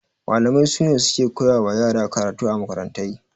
Malamai sune suke koya wa yara karatu a makarantai